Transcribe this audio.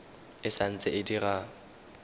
e sa ntse e dira